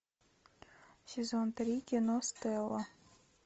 сезон три кино стелла